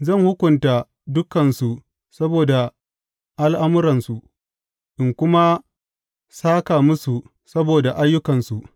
Zan hukunta dukansu saboda al’amuransu in kuma sāka musu saboda ayyukansu.